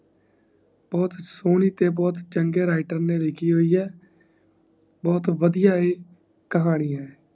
ਬਹੁਤ ਸੋਹਣੀ ਤੇ ਬਹੁਤ ਚੰਗੇ writer ਨੇ ਲਿਖੀ ਹੋਈ ਹੈ ਬਹੁਤ ਵੜਿਆ ਈ ਕਹਾਣੀ ਈ